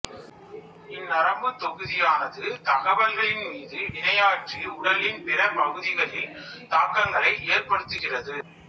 இந் நரம்புத் தொகுதியானது தகவல்களின் மீது வினையாற்றி உடலின் பிற பகுதிகளில் தாக்கங்களை ஏற்படுத்துகிறது